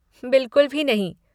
बिलकुल भी नहीं।